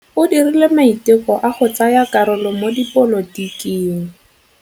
O dirile maitekô a go tsaya karolo mo dipolotiking.